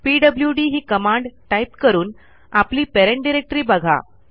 PWD ही command type करून आपली पॅरेंट डायरेक्टरी बघा